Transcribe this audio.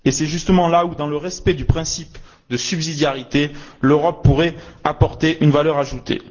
C'est justement là où, dans le respect du principe de subsidiarité, l'Europe pourrait apporter une valeur ajoutée.